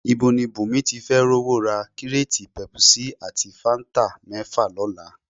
Ibo ni Bùnmi tí fẹ́ rówó ra kíréètì pẹpusí ati fáńtà mẹ́fà lọ́la?